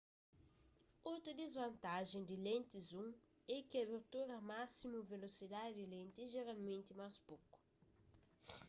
otu disvantajen di lentis zoom é ki abertura másimu velosidadi di lenti é jeralmenti más poku